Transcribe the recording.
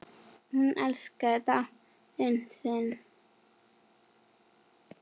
Hún elskaði Dalinn sinn.